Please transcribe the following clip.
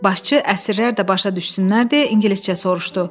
Başçı əsirlər də başa düşsünlər deyə ingiliscə soruşdu.